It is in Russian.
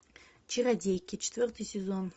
чародейки четвертый сезон